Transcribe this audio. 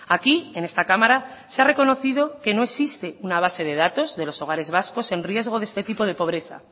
aquí en esta cámara se ha reconocido que no existe una base de datos de los hogares vascos en riesgo de este tipo de pobreza